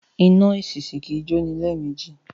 Iná èsìsì kì í jóni lẹ́ẹ̀mejì